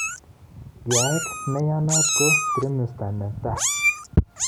Yaeet nenaiyat ko trimester netaa